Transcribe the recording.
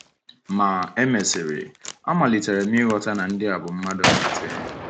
Ma, e mesịrị, amalitere m ịghọta na ndị a bụ mmadụ nkịtị.